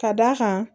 Ka d'a kan